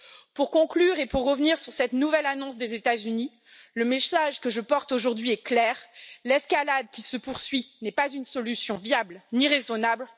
Pour conclure et pour revenir sur cette nouvelle annonce des États Unis, le message que je porte aujourd'hui est clair l'escalade qui se poursuit n'est pas une solution viable ni raisonnable